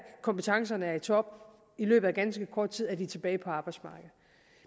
kompetencerne er i top og i løbet af ganske kort tid er de tilbage på arbejdsmarkedet